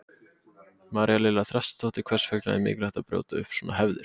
María Lilja Þrastardóttir: Hvers vegna er mikilvægt að brjóta upp svona hefðir?